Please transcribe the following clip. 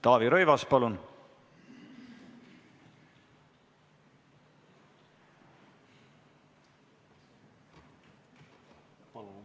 Taavi Rõivas, palun!